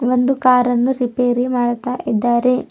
ಒಂದು ಕಾರ್ ಅನ್ನು ರಿಪೇರಿ ಮಾಡುತ್ತಾ ಇದ್ದಾರೆ.